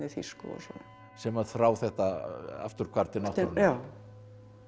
þýsku og svona sem að þrá þetta afturhvarf til náttúrunnar já